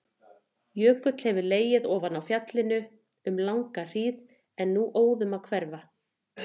Jökull hefur legið ofan á fjallinu um langa hríð en er nú óðum að hverfa.